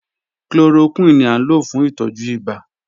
Chloroquine ni a lo fun itọju ibà.